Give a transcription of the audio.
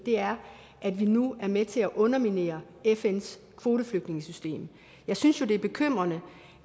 er at vi nu er med til at underminere fns kvoteflygtningesystem jeg synes jo det er bekymrende